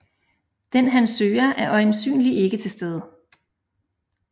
Den han søger er øjensynlig ikke til stede